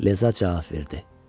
Leza cavab verdi.